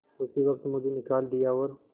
उसी वक्त मुझे निकाल दिया और